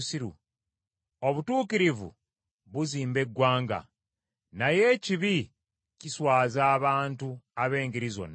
Obutuukirivu buzimba eggwanga, naye ekibi kiswaza abantu ab’engeri zonna.